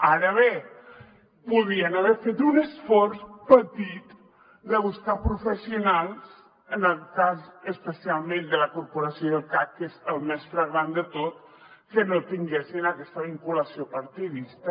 ara bé podien haver fet un esforç petit de buscar professionals en el cas especialment de la corporació i del cac que és el més flagrant de tot que no tinguessin aquesta vinculació partidista